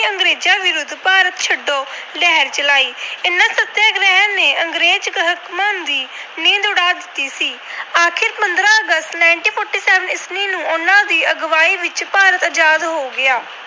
ਭਾਰਤ ਛੱਡੋ ਲਹਿਰ ਚਲਾਈ। ਇਹਨਾਂ ਸਤਿਆਗ੍ਰਹਿਆਂ ਨੇ ਅੰਗਰੇਜ ਹਾਕਮਾਂ ਦੀ ਨੀਂਦ ਉਡਾ ਦਿੱਤੀ ਸੀ। ਆਖਰ ਪੰਦਰਾਂ ਅਗਸਤ, ਉਨੀ ਸੌ ਸੰਤਾਲੀ ਨੂੰ ਉਹਨਾਂ ਦੀ ਅਗਵਾਈ ਵਿੱਚ ਭਾਰਤ ਆਜਾਦ ਹੋ ਗਿਆ।